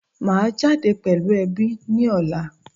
Maa jade pelu ebi ni ola